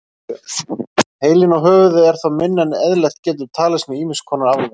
Heilinn og höfuðið er þá minna en eðlilegt getur talist með ýmis konar afleiðingum.